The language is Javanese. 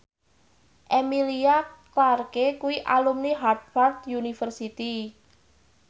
Emilia Clarke kuwi alumni Harvard university